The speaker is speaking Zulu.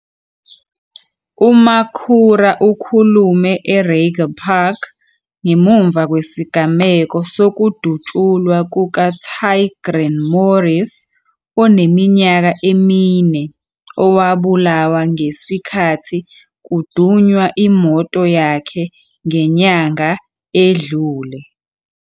UMakhura ukhulume eReiger Park ngemuva kwesigameko sokudutshulwa kukaTaegrin Morris oneminyaka emine owabulawa ngesikhathi kudunwa imoto yakhe ngenyanga edlule.